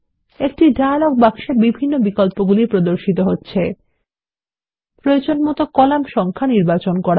একটি ডায়লগ বাক্সে বিভিন্ন বিকল্পগুলি প্রদর্শিত হচ্ছে প্রয়োজনমত কলাম সংখ্যা নির্বাচন করা